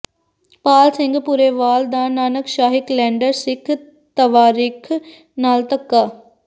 ਪਾਲ ਸਿੰਘ ਪੁਰੇਵਾਲ ਦਾ ਨਾਨਕਸ਼ਾਹੀ ਕਲੈਂਡਰ ਸਿੱਖ ਤਵਾਰੀਖ਼ ਨਾਲ ਧੱਕਾ